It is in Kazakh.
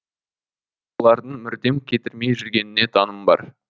бұлардың мүрдем кетірмей жүргеніне таңым бар